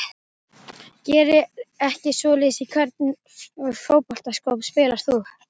Geri ekki svoleiðis Í hvernig fótboltaskóm spilar þú?